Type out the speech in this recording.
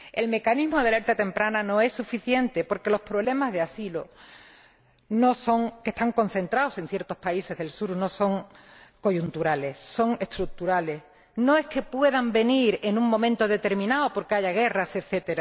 El mecanismo de alerta temprana no es suficiente porque los problemas de asilo, que están concentrados en ciertos países del Sur, no son coyunturales, son estructurales. No es que los demandantes de asilo puedan venir en un momento determinado porque haya guerras, etc.